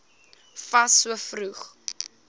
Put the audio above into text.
fas so vroeg